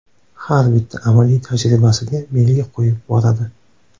Har bitta amaliy tajribasiga belgi qo‘yib boradi.